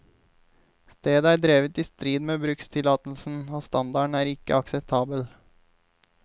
Stedet er drevet i strid med brukstillatelsen, og standarden er ikke akseptabel.